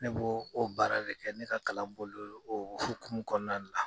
Ne b'o o baara de kɛ ne ka kalan boli lo o hokumu kɔnɔna la.